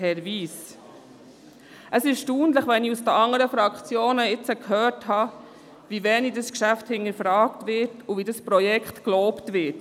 Es ist erstaunlich, wenn ich seitens der anderen Fraktionen höre, wie wenig dieses Geschäft hinterfragt und das Projekt gelobt wird.